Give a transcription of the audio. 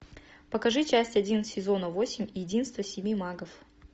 покажи часть один сезона восемь единство семи магов